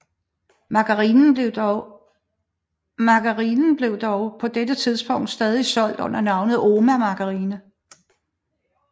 Margarinen blev dog på dette tidspunkt stadig solgt under navnet OMA margarine